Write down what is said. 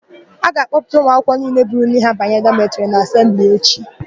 A ga-akpọpụta ụmụakwụkwọ niile buru nri ha banye dọmetịrị na asembli echi.